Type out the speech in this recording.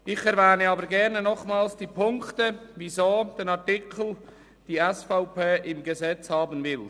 Ich erwähne aber gerne nochmals die Punkte, gestützt auf welche die SVP den Artikel im Gesetz haben will.